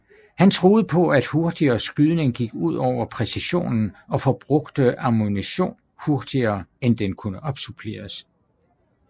Han troede på at hurtigere skydning gik ud over præcisionen og forbrugte ammunition hurtigere end den kunne opsuppleres